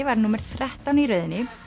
var númer þrettán í röðinni